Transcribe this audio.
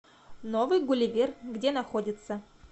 новый гулливер где находится